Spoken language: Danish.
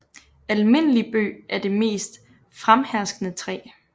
Almindelig Bøg er det mest fremherskende træ